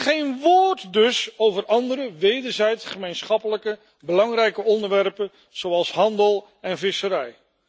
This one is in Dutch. Geen woord dus over andere wederzijds gemeenschappelijke belangrijke onderwerpen, zoals handel en visserij.